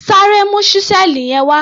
Sáré mu ṣísẹ́ẹ̀lì yẹn wá!